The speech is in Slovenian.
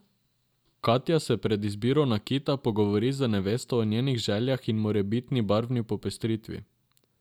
Katja se pred izbiro nakita pogovori z nevesto o njenih željah in morebitni barvni popestritvi.